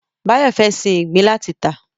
Báyọ̀ fẹ́ sin ìgbín láti tà